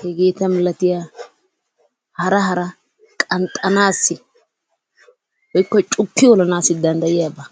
hegeeta milattiyaba hara hara qanxxanaassi woikko cukki olanaassi danddayiyiaaba.